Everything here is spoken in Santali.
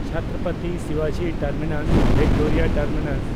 ᱪᱷᱛᱨᱚᱯᱚᱛᱤ ᱥᱤᱵᱟᱡᱤ ᱴᱟᱨᱢᱤᱱᱟᱥ (ᱵᱷᱤᱠᱴᱳᱨᱤᱭᱟ ᱴᱟᱨᱢᱤᱱᱟᱥ)